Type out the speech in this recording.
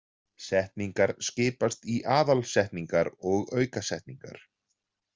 Setningar skiptast í aðalsetningar og aukasetningar.